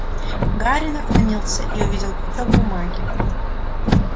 гарри наклонился и увидел клочок бумаги